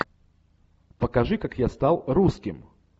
покажи как я стал русским